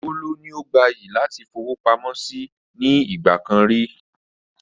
Kóló ni ó gbayì láti fowópamọ́ síí nì ìgbàkan ríi